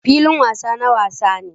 Filin wasa na wasa ne.